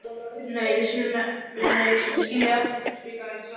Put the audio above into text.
Nei, við skulum skilja eftir gullbikarinn, sagði hún.